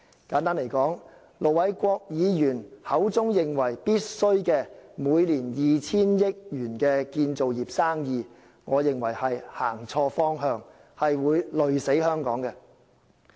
簡單而言，盧偉國議員認為建造業的工程費每年須達 2,000 億元，我認為方向錯誤，會累死香港。